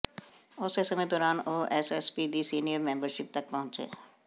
ਉਸੇ ਸਮੇਂ ਦੌਰਾਨ ਉਹ ਐਸਏਸੀਪੀ ਦੀ ਸੀਨੀਅਰ ਮੈਂਬਰਸ਼ਿਪ ਤੱਕ ਪਹੁੰਚੇ